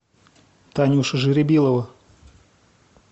танюша жеребилова